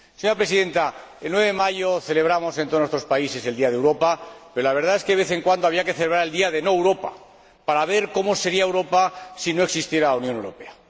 Señora Presidenta, el 9 de mayo celebramos en todos nuestros países el Día de Europa, pero la verdad es que, de vez en cuando, habría que celebrar el Día de No Europa para ver cómo sería Europa si no existiera la Unión Europea.